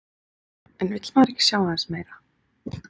En vill maður ekki sjá aðeins meira?